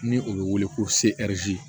Ni o bɛ wele ko seriti